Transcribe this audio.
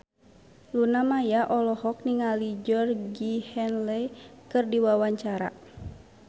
Luna Maya olohok ningali Georgie Henley keur diwawancara